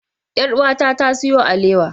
Yar'uwata ta siyo alewa.